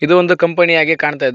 ಇದೊಂದು ಕಂಪನಿ ಯಾಗಿ ಕಾಣ್ತಾ ಇದೆ.